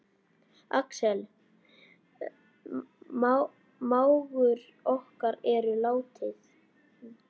Axel mágur okkar er látinn.